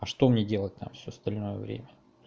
а что мне делать там всё остальное время